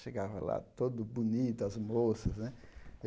Chegava lá todo bonito, as moças né.